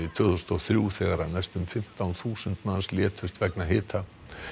tvö þúsund og þrjú þegar næstum fimmtán þúsund manns létust vegna hitans